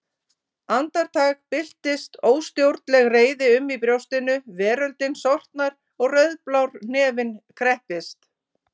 Andartak byltist óstjórnleg reiði um í brjóstinu, veröldin sortnar og rauðblár hnefinn kreppist.